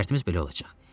Şərtimiz belə olacaq.